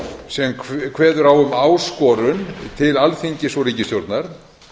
sem kveður á um áskorun til alþingis og ríkisstjórnar